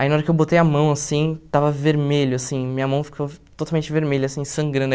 Aí na hora que eu botei a mão, assim, estava vermelho, assim, minha mão ficou totalmente vermelha, assim, sangrando.